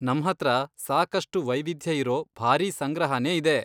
ನಮ್ಹತ್ರ ಸಾಕಷ್ಟು ವೈವಿಧ್ಯ ಇರೋ ಭಾರೀ ಸಂಗ್ರಹನೇ ಇದೆ.